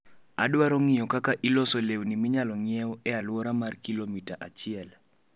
Adwaro ng'iyo kaka iloso lewni minyalo ng'iewo e alwora mar kilomita achiel